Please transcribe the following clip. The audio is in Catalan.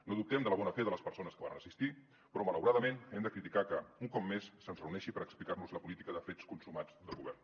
no dubtem de la bona fe de les persones que hi varen assistir però malauradament hem de criticar que un cop més se’ns reuneixi per explicar nos la política de fets consumats del govern